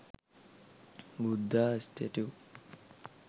buddha statue